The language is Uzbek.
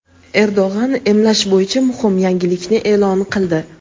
Erdo‘g‘an emlash bo‘yicha muhim yangilikni e’lon qildi.